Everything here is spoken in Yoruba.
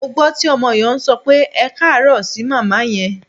Mo gbọ́ tí ọmọ yẹn sọ pé "ẹkáàárọ̀" sí màmá yẹn.